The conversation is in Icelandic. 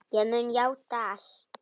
Ég mun játa allt.